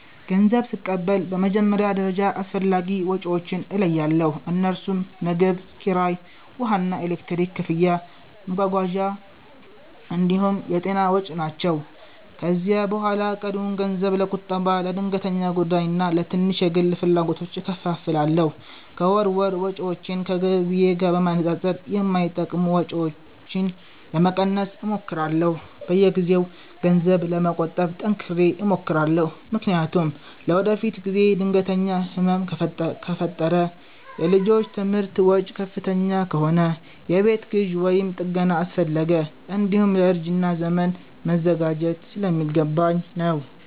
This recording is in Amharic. ገንዘብ ስቀበል በመጀመሪያ ደረጃ አስፈላጊ ወጪዎቼን እለያለሁ፤ እነርሱም ምግብ፣ ኪራይ፣ ውሃና ኤሌክትሪክ ክፍያ፣ መጓጓዣ እንዲሁም የጤና ወጪ ናቸው። ከዚያ በኋላ ቀሪውን ገንዘብ ለቁጠባ፣ ለድንገተኛ ጉዳይና ለትንሽ የግል ፍላጎቶች እከፋፍላለሁ። ከወር ወር ወጪዎቼን ከገቢዬ ጋር በማነጻጸር የማይጠቅሙ ወጪዎችን ለመቀነስ እሞክራለሁ። በየጊዜው ገንዘብ ለመቆጠብ ጠንክሬ እሞክራለሁ፤ ምክንያቱም ለወደፊት ጊዜ ድንገተኛ ህመም ከፈጠረ፣ የልጆች ትምህርት ወጪ ከፍተኛ ከሆነ፣ የቤት ግዢ ወይም ጥገና አስፈለገ፣ እንዲሁም ለእርጅና ዘመን መዘጋጀት ስለሚገባኝ ነው።